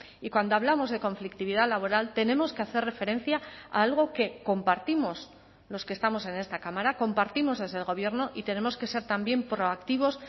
y cuando hablamos de conflictividad laboral tenemos que hacer referencia a algo que compartimos los que estamos en esta cámara compartimos desde el gobierno y tenemos que ser también proactivos